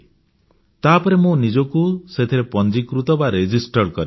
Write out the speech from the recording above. ତାପରେ ମୁଁ ନିଜକୁ ସେଥିରେ ପଂଜୀକୃତ କରିନେଲି